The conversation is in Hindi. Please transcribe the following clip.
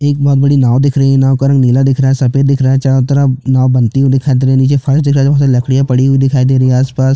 एक बहोत बड़ी नाँव दिख रही है नाँव का रंग नीला दिख रहा है सफ़ेद दिख रहा है चारो तरफ नाँव बनती हुई दिखाई दे रही है नीचे फर्श दिख रहा है लकड़िया पड़ी हुई दिखाई दे रही है आसपास--